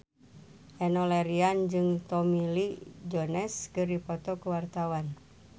Enno Lerian jeung Tommy Lee Jones keur dipoto ku wartawan